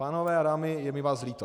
Pánové a dámy, je mi vás líto.